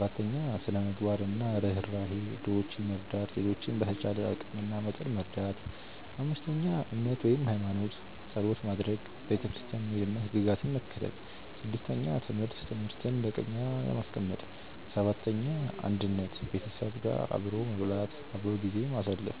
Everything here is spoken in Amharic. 4· ስነ -ምግባር እና ርህራሄ - ድሆችን መርዳት፣ ሌሎችን በተቻለ አቂም እና መጠን መርዳት 5· እምነት (ሃይማኖት) - ጸሎት ማድረግ፣ ቤተክርስቲያን መሄድ እና ሕግጋትን መከተል 6· ትምህርት - ትምህርትን እንደ ቅድሚያ ማስቀመጥ 7· አንድነት - ቤተሰብ አብሮ መብላት፣ አብሮ ጊዜ ማሳለፍ